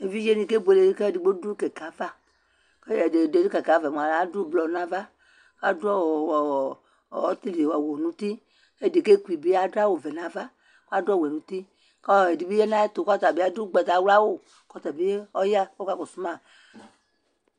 évidjéni kébolé kʊédɩgbo dʊ kɛkɛava kʊadʊ blɔnava adʊɔ ɔtɩlɩ awʊnʊtɩ ɛdɩbɩ adʊawʊvɛnava ɛdɩbɩ adʊ ʊgbatawlawʊ kʊɔkakɔsʊma